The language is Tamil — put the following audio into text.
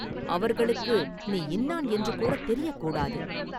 அவர்களுக்கு நீ இன்னான் என்று கூடத் தெரியக் கூடாது!